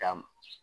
Ka